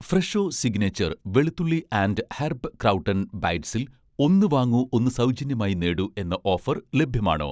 Fresho signature' വെളുത്തുള്ളി and herb crouton ബൈറ്റ്സിൽ 'ഒന്ന് വാങ്ങൂ ഒന്ന് സൗജന്യമായി നേടൂ' എന്ന ഓഫർ ലഭ്യമാണോ?